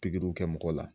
Pikiriw kɛ mɔgɔ la